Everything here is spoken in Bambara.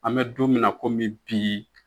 An mɛ don min na komi bi